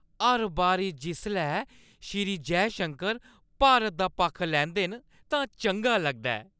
हर बारी जिसलै श्री जयशंकर भारत दा पक्ख लैंदे न, तां चंगा लगदा ऐ ।